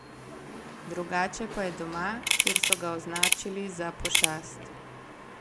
Drugače pa je doma, kjer so ga označili za pošast.